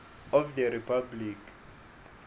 of the republic